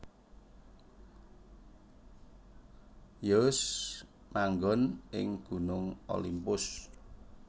Zeus manggon ing Gunung Olimpus